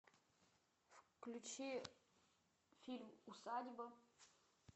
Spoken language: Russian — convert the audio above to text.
включи фильм усадьба